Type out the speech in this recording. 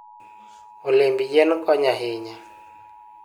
Olemb yien konyo ahinya.